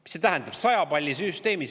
Mida see tähendab 100 palli süsteemis?